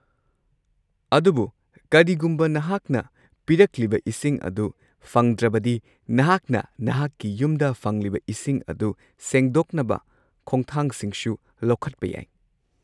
ꯑꯗꯨꯕꯨ ꯀꯔꯤꯒꯨꯝꯕ ꯅꯍꯥꯛꯅ ꯄꯤꯔꯛꯂꯤꯕ ꯏꯁꯤꯡ ꯑꯗꯨ ꯐꯪꯗ꯭ꯔꯕꯗꯤ, ꯅꯍꯥꯛꯅ ꯅꯍꯥꯛꯀꯤ ꯌꯨꯝꯗ ꯐꯪꯂꯤꯕ ꯏꯁꯤꯡ ꯑꯗꯨ ꯁꯦꯡꯗꯣꯛꯅꯕ ꯈꯣꯡꯊꯥꯡꯁꯤꯡꯁꯨ ꯂꯧꯈꯠꯄ ꯌꯥꯏ꯫